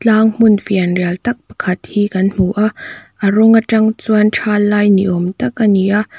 tlang hmun fianrial tak pakhat hi kan hmu a a rawng atang chuan thal lai niawm tak ani a.